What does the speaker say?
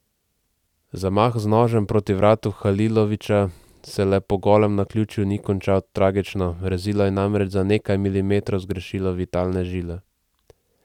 Zamah z nožem proti vratu Halilovića se le po golem naključju ni končal tragično, rezilo je namreč za nekaj milimetrov zgrešilo vitalne žile.